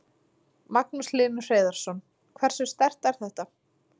Magnús Hlynur Hreiðarsson: Hversu sterkt er þetta?